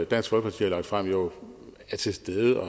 dansk folkeparti har lagt frem jo er til stede